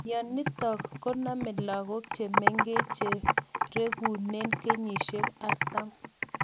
mionitok nitok konamee lakook chemengech cherekunee kenyishek artam